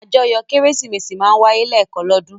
Àjọyọ̀ Kérésìmesì máa ń wáyé lẹ́ẹ̀kan lọ́dún.